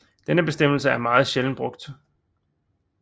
Denne bestemmelse er meget sjældent brugt